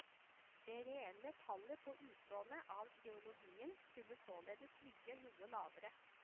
Det reelle tallet på utlånet av trilogien skulle således ligget noe lavere.